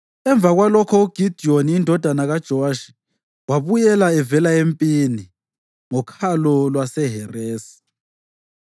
Emva kwalokho uGidiyoni indodana kaJowashi wabuyela evela empini ngoKhalo lwaseHeresi.